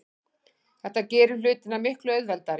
Þetta gerir hlutina miklu auðveldari.